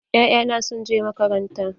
Ya'ya na sun je makaranta.